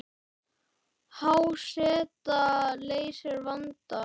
Há seta leysir vandann